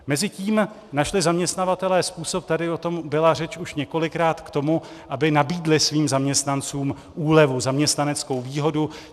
Mezitím našli zaměstnavatelé způsob, tady o tom byla řeč už několikrát, k tomu, aby nabídli svým zaměstnancům úlevu, zaměstnaneckou výhodu.